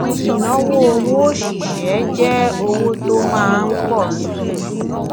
ìnáwó owó òṣìṣẹ jẹ owó tó máa ń pọ síi